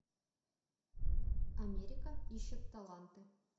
америка ищет таланты